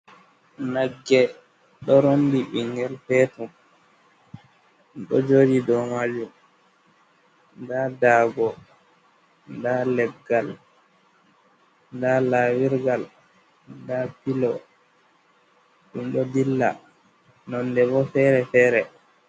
Nagge ɗo rondi ɓingel petel ɗo joɗi do majum, nda dago, da leggal, da lawirgal, da pilo, ɗum ɗo dilla nonde bo fere fere.